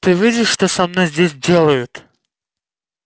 ты видишь что со мной здесь делают